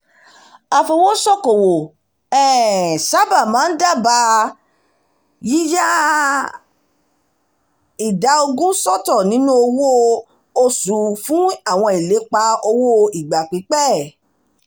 afowósókowò um sábà máa ń dábàá yíya ìdá ogún sọ́tọ̀ nínú owó sọ́tọ̀ nínú owó oṣù fún àwọn ìlépa owó ìgbà pípẹ́